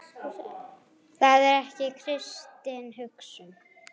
Það er ekki kristin hugsun.